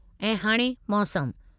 ऐं हाणे मौसमु